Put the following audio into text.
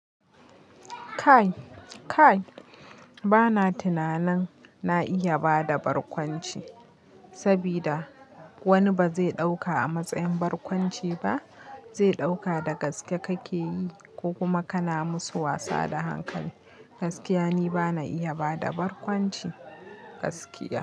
Kai, kai bana tunanin na iya bada barkwanci, sabida wani ba zai dauka a matsayin barkwanci ba, zai dauka da gaske kake yi, ko kuma kana musu wasa da hankali. Gaskiya ni bana iya bada barkwanci, gaskiya.